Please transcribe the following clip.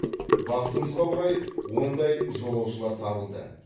бақытымызға орай ондай жолаушылар табылды